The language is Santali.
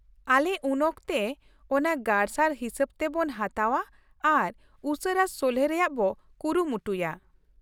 ᱟᱞᱮ ᱩᱱᱚᱠᱛᱮ ᱚᱱᱟ ᱜᱟᱨᱥᱟᱨ ᱦᱤᱥᱟᱹᱵᱛᱮ ᱵᱚ ᱦᱟᱛᱟᱣᱼᱟ ᱟᱨ ᱩᱥᱟᱹᱨᱟ ᱥᱚᱞᱦᱮ ᱨᱮᱭᱟᱜ ᱵᱚ ᱠᱩᱨᱩᱢᱩᱴᱩᱭᱟ ᱾